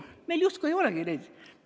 Meil justkui ei olegi neid.